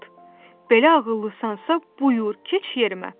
Belə ağıllısansa, buyur, keç yerimə.